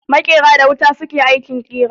Makera da wuta su ke aikin kira.